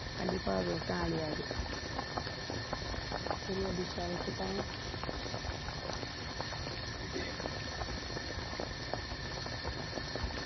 கண்டிப்பா விவசாயம் அழியாது சரி அபிஷா வைக்கட்டா?